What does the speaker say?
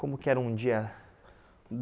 Como que era um dia? Hum